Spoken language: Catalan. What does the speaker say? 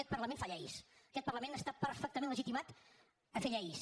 aquest parlament fa lleis aquest parlament està perfectament legitimat a fer lleis